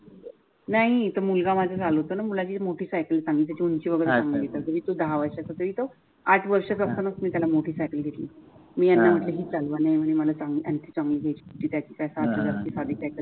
नाही तर मुलगा माझा चालवतो न मुलाची मोठी सायकल आहे त्याची उंची वगेरे दहा वर्षाचा तरी तो आठ वर्षाचा असताना त्याला मोठी सायकल घेतल